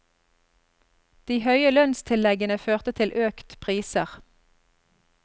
De høye lønnstilleggene førte til økt priser.